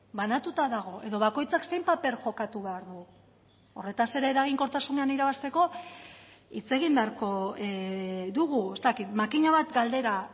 banatuta dago edo bakoitzak zein paper jokatu behar du horretaz ere eraginkortasunean irabazteko hitz egin beharko dugu ez dakit makina bat galdera